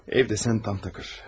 Evdə isə tamtakırdır.